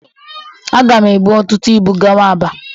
Aga m ebu ọtụtụ ịbụ gawa Aba.